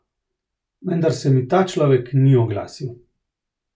Vendar se mi ta človek ni oglasil.